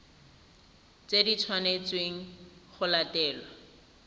tse di tshwanetsweng go latelwa